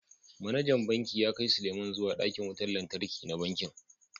Manajan Bankin ya kai Sulieman zuwa dakin wutar lantarki na bankin